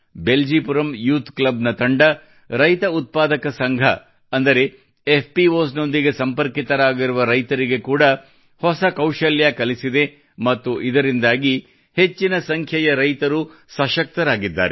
Beljipuram youth club ನ ತಂಡವು ರೈತ ಉತ್ಪಾದಕ ಸಂಘ ಅಂದರೆ ಎಫ್ಪಿಒಎಸ್ ನೊಂದಿಗೆ ಸಂಪರ್ಕಿತರಾಗಿರುವ ರೈತರಿಗೆ ಕೂಡಾ ಹೊಸ ಕೌಶಲ್ಯ ಕಲಿಸಿದೆ ಮತ್ತು ಇದರಿಂದಾಗಿ ಹೆಚ್ಚಿನ ಸಂಖ್ಯೆಯ ರೈತರು ಸಶಕ್ತರಾಗಿದ್ದಾರೆ